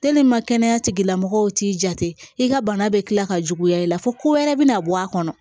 kɛnɛya tigilamɔgɔw t'i jate i ka bana bɛ tila ka juguya i la fo ko wɛrɛ bɛna bɔ a kɔnɔ